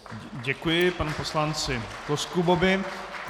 Děkuji panu poslanci Koskubovi.